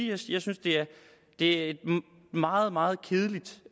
jeg synes at det er et meget meget kedeligt